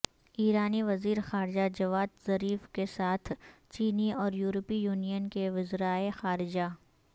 ایرانی وزیر خارجہ جواد ظریف کے ساتھ چینی اور یورپی یونین کے وزرائے خارجہ